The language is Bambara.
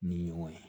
Ni o ye